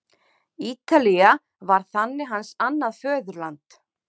Ítalía varð þannig hans annað föðurland.